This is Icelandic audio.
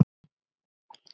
Dagur og Nótt.